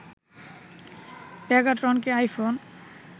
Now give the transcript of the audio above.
পেগাট্রনকে iPhone